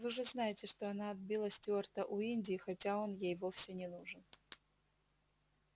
вы же знаете что она отбила стюарта у индии хотя он ей вовсе не нужен